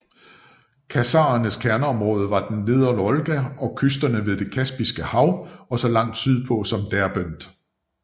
Khazarernes kerneområde var ved nedre Volga og kysterne ved Det Kaspiske Hav og så langt sydpå som Derbent